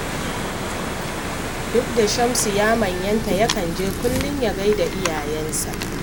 Duk da Shamsu ya manyanta yakan je kullum ya gai da iyayensa